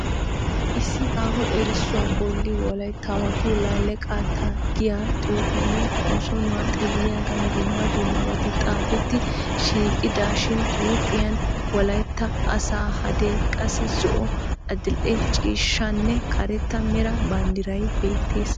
Issi aaho erisuwaa bolli wolaytaawattu laale qaata giyaa xufeenne, konssonnuwa xeelliyagan dumma dummabati xaafeti shiqidashin huuphphiyan wolaytta asaa hadee, qassi zo'o, adildhdhe ciishshanne karetta meraa bandiray beettees.